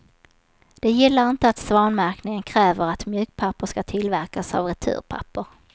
De gillar inte att svanmärkningen kräver att mjukpapper ska tillverkas av returpaper.